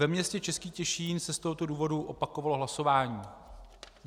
Ve městě Český Těšín se z tohoto důvodu opakovalo hlasování.